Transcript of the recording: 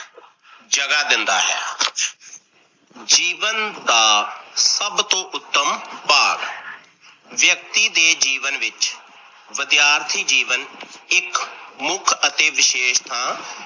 ਜਗ੍ਹਾ ਦਿੰਦਾ ਹੈ। ਜੀਵਨ ਦਾ ਸਭ ਤੋਂ ਉੱਤਮ ਭਾਗ ਵਿਅਕਤੀ ਦੇ ਜੀਵਨ ਵਿੱਚ ਵਿਦਿਆਰਥੀ ਜੀਵਨ ਇੱਕ ਮੁੱਖ ਅਤੇ ਵਿਸ਼ੇਸ਼ ਥਾਂ